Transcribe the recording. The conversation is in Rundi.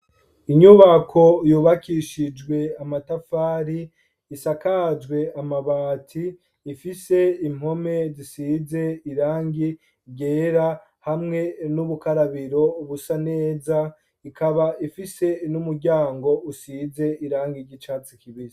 Inyubako yubakishijwe amatafari, isakajwe amabati, ifise impome zisize irangi ryera hamwe n'ubukarabiro busa neza, ikaba ifise n'umuryango usize irangi ry’icatsi kibisi.